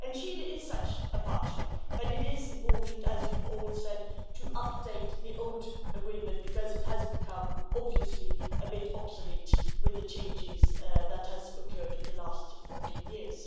Chile is such a partner, but it is important, as you have all said, to update the old agreement because it has become, obviously, a bit obsolete with the changes that have occurred in the last 14 years.